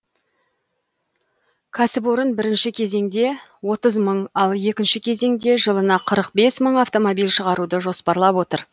кәсіпорын бірінші кезеңде отыз мың мың ал екінші кезеңде жылына қырық бес мың автомобиль шығаруды жоспарлап отыр